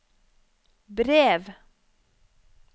brev